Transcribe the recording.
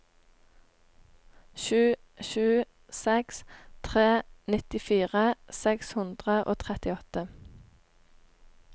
sju sju seks tre nittifire seks hundre og trettiåtte